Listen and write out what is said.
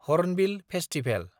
hornbill festival